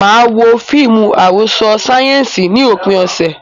Mo máa wo fíìmù àròsọ sáyẹ́ǹsì ní òpin ọ̀sẹ̀.